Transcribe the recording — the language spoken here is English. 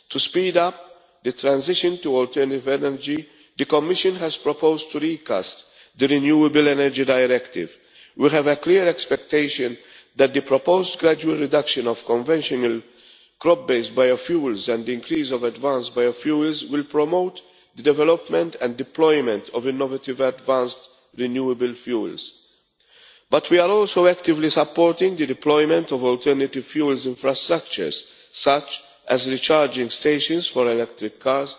To speed up the transition to alternative energy, the Commission has proposed recasting the Renewable Energy Directive. We have a clear expectation that the proposed gradual reduction of conventional crop based biofuels and increase of advanced biofuels will promote the development and deployment of innovative advanced renewable fuels. We are also actively supporting the deployment of alternative fuel infrastructures, such as recharging stations for electric